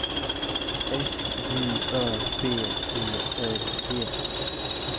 S J Ö B E R G